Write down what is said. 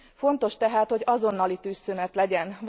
Fontos tehát, hogy azonnali tűzszünet legyen!